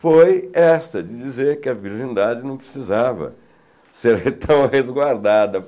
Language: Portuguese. Foi essa de dizer que a virgindade não precisava ser re tão resguardada.